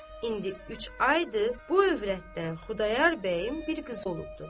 İndi üç aydır, bu övrətdən Xudayar bəyin bir qızı olubdur.